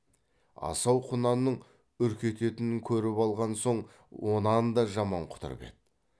асау құнанның үркететінін көріп алған соң онан да жаман құтырып еді